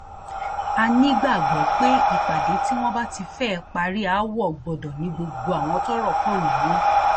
a nígbàgbọ pé ìpàdé tí wọn bá ti fẹẹ parí aáwọ gbọdọ ní gbogbo àwọn tọrọ kàn nínú